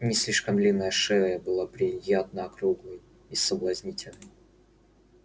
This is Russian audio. не слишком длинная шея была приятно округлой и соблазнительной